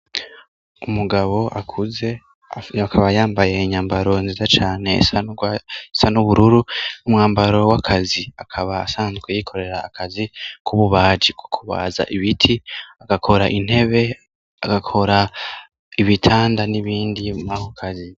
Umugabo akuze akaba yambaye inyambaro nziza cane sa n'ubururu n'umwambaro w'akazi akaba sanzwe yikorera akazi k'ububaji ku kubaza ibiti agakora intebe agakora ibitanda n'ibindi mahokazi.